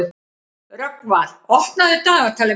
Rögnvar, opnaðu dagatalið mitt.